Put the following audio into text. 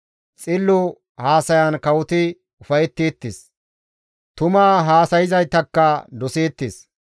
Xillo haasayan kawoti ufayetteettes; tuma haasayzaytakka doseettes.